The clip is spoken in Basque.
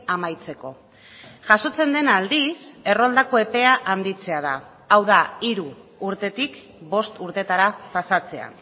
amaitzeko jasotzen dena aldiz erroldako epea handitzea da hau da hiru urtetik bost urtetara pasatzea